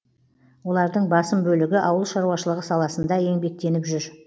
олардың басым бөлігі ауыл шаруашылығы саласында еңбектеніп жүр